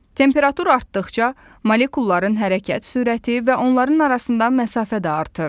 Temperatur artdıqca molekulların hərəkət sürəti və onların arasından məsafə də artır.